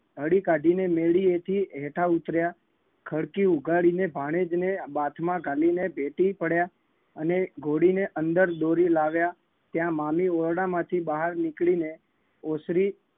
હળી કાઢીને મેળીએથી હેઠા ઉતર્યા ખડકી ઉગાડીને ભાણેજને બાથમાં ઘાલીને ભેટી પડ્યા. અને ઘોડીને અંદર દોરી લાવ્યા ત્યાં મામી ઓરડામાંથી બહાર નીકળીને ઓસરી